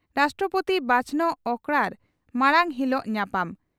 ᱨᱟᱥᱴᱨᱚᱯᱳᱛᱤ ᱵᱟᱪᱷᱚᱱᱚᱜ ᱚᱠᱨᱟᱲ ᱢᱟᱲᱟᱝ ᱦᱤᱞᱚᱜ ᱧᱟᱯᱟᱢ